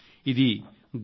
ఇది గౌరవ కార్యక్రమం